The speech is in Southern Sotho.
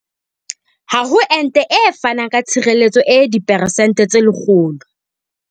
Ha ho ente e fanang ka tshireletso e diperesente tse 100.